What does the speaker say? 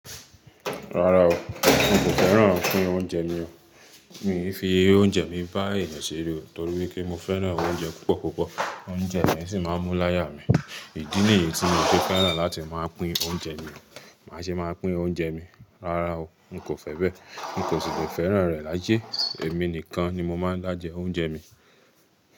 Rárá o, n kò fẹ́ràn pín oúnjẹ mi o. Mí fi oúnjẹ mi bá eeyan sere nitọ̀rípé n fẹ́ràn oúnjẹ púpọ̀púpọ̀, oúnjẹ mi sì máa ń mú láyà mi. Ìdí nìyí tí mi ò tí feran láti máa pín oúnjẹ mi. Màá ṣe máa pín oúnjẹ mi. Rárá o, n kò fẹ́ bẹ́. N kò sì lè fẹ́ràn rẹ̀ láyẹ̀. Èmi nìkan ni mo máa ń dá jẹ oúnjẹ mi.